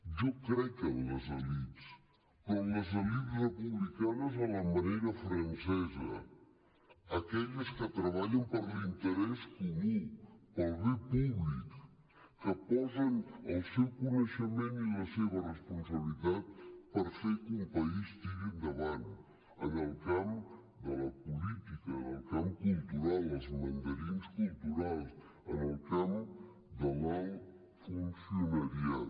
jo crec en les elits però les elits republicanes a la manera francesa aquelles que treballen per l’interès comú per al bé públic que posen el seu coneixement i la seva responsabilitat per fer que un país tiri endavant en el camp de la política en el camp cultural els mandarins culturals en el camp de l’alt funcionariat